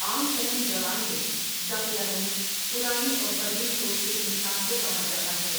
عام فہم زبان میں دقیانوس پرانی اور قدیم سوچ کے انسان کو کہا جاتا ہے ۔